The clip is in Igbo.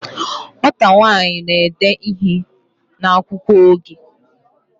Nwata nwanyi n'ede ihe n'akwukwo oge